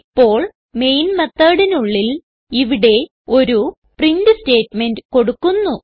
ഇപ്പോൾ മെയിൻ methodനുള്ളിൽ ഇവിടെ ഒരു പ്രിന്റ് സ്റ്റേറ്റ്മെന്റ് കൊടുക്കുന്നു